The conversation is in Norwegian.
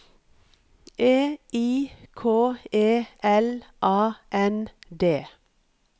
E I K E L A N D